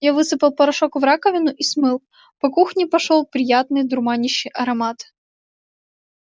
я высыпал порошок в раковину и смыл по кухне пошёл приятный дурманящий аромат